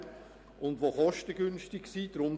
Die Lösungen müssen kostengünstig sein;